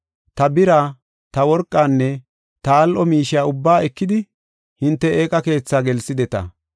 Ta bira, ta worqanne ta al7o miishiya ubbaa ekidi hinte eeqa keethaa gelsideta.